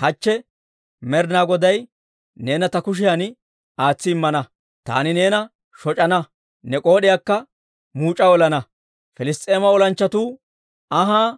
Hachche Med'inaa Goday neena ta kushiyan aatsi immana; taani neena shoc'ana; ne k'ood'iyaakka muuc'a olana. Piliss's'eema olanchchatuwaa anhaa